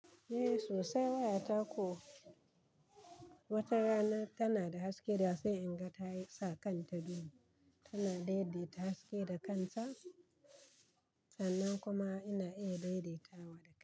Eh sosai wayata ko wata rana tana da haske da sai in ga tayi sa kanta duhu, tana daidaita haske da kanta sannan kuma ina iya daidaita wa da kaina.